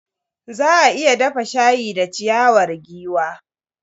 Za a iya dafa shayi da ciyawar giwa.